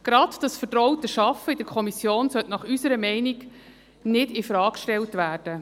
Gerade dieses vertraute Arbeiten in der Kommission sollte unserer Meinung nach nicht infrage gestellt werden.